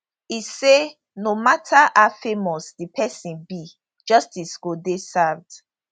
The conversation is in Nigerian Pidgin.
e say no mata how famous di pesin be justice go dey served